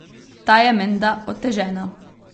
Ta je menda otežena.